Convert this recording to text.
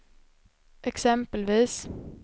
exempelvis